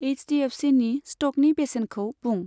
H D F सिनि स्टकनि बेसेनखौ बुं।